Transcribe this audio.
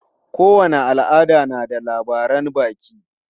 Kowane al'ada na da labaran baki.